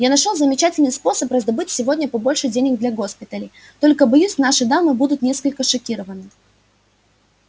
я нашёл замечательный способ раздобыть сегодня побольше денег для госпиталей только боюсь наши дамы будут несколько шокированы